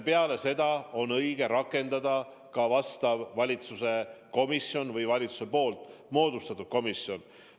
Peale seda on õige luua asjaomane valitsuse komisjon või valitsuse moodustatud komisjon.